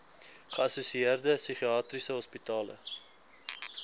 geassosieerde psigiatriese hospitale